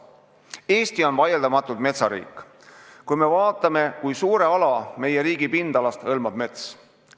Eesti on vaieldamatult metsariik – me ju teame, kui suure ala meie riigi pindalast hõlmab mets.